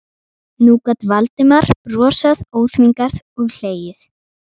Nú gat Valdimar brosað óþvingað og hlegið.